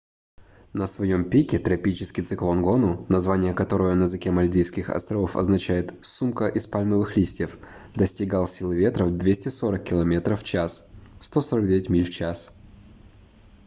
на своём пике тропический циклон гону название которого на языке мальдивских островов означает сумка из пальмовых листьев достигал силы ветра в 240 километров в час 149 миль в час